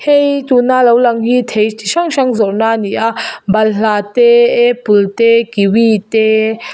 hei tuna lo lang hi thei chi hrang hrang zawrhna a ni a balhla te apple te kiwi te.